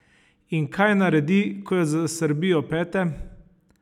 In kaj naredi, ko jo zasrbijo pete?